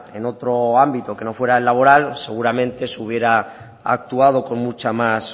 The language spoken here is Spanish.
en otro ámbito que no fuera el laboral seguramente se hubiera actuado con mucha más